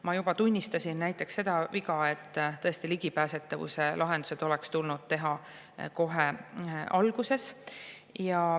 Ma juba tunnistasin näiteks seda viga, et ligipääsetavuse lahendused oleks tulnud teha kohe alguses.